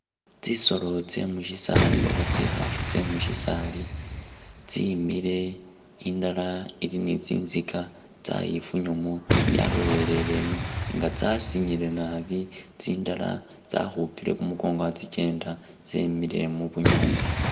Tsisolo tsemusisali oba tsikhafu tsemusisali tsimili indala ili nitsitsika tsayifunyamo yaloleleleno nga'tsasilile naabi tsindala tsakhupile kumukongo khatsikenda tsemile mubunyaasi